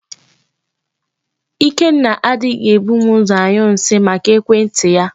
Ikenna anaghị ebu m ụzọ anyụ nsị, maka ekwentị ya.